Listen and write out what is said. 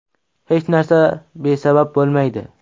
Hech narsa besabab bo‘lmaydi.